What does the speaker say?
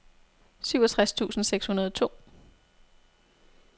syvogtres tusind seks hundrede og to